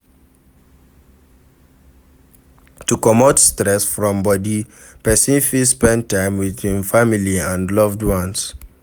To comot stress from body person fit spend time with im family and loved ones